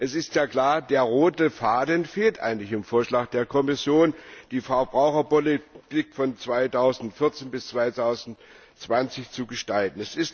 Denn es ist ja klar Der rote Faden fehlt eigentlich im Vorschlag der Kommission, die Verbraucherpolitik von 2014 bis 2020 zu gestalten.